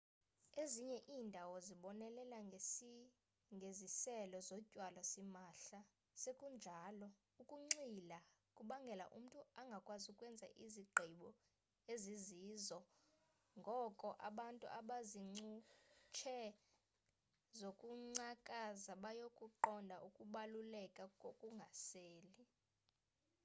ezinye iindawo zibonelela ngeziselo zotywala simahla sekunjalo ukunxila kubangela umntu angakwazi ukwenza izigqibo ezizizo ngoko abantu abazincutshe zokungcakaza bayakuqonda ukubaluleka kokungaseli